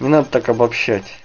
не надо так обобщать